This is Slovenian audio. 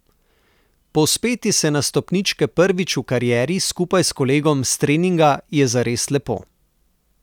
Povzpeti se na stopničke prvič v karieri skupaj s kolegom s treninga je zares lepo.